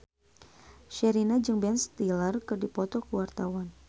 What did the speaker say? Sherina jeung Ben Stiller keur dipoto ku wartawan